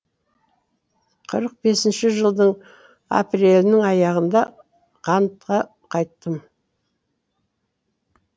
қырық бесінші жылдың апрелінің аяғында қантқа қайттым